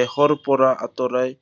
দেহৰ পৰা আঁতৰাই